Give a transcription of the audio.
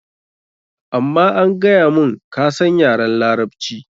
Amma an gaya mun, ka san yaran Larabci.